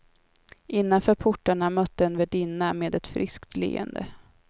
Innanför portarna mötte en värdinna med ett friskt leende.